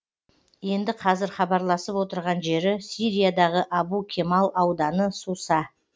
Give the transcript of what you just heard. енді қазір хабарласып отырған жері сириядағы абу кемал ауданы суса